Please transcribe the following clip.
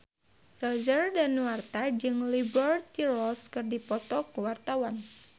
Roger Danuarta jeung Liberty Ross keur dipoto ku wartawan